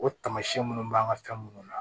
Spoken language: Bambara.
O tamasiyɛn minnu b'an ka fɛn munnu na